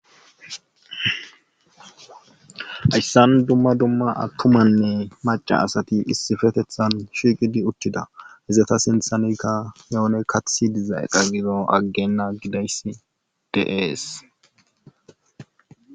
Ayssan dumma dumma attumanne maca asati issifetethan shiiqidi ucthida izata sinthanekka yoone kathi diza eqa gido aggenna gidayss deees.